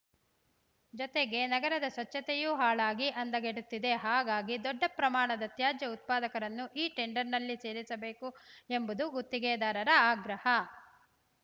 ಜೊತೆಗೆ ನಗರದ ಸ್ವಚ್ಛತೆಯೂ ಹಾಳಾಗಿ ಅಂದಗೆಡುತ್ತಿದೆ ಹಾಗಾಗಿ ದೊಡ್ಡ ಪ್ರಮಾಣದ ತ್ಯಾಜ್ಯ ಉತ್ಪಾದಕರನ್ನೂ ಈ ಟೆಂಡರ್‌ನಲ್ಲಿ ಸೇರಿಸಬೇಕು ಎಂಬುದು ಗುತ್ತಿಗೆದಾರರ ಆಗ್ರಹ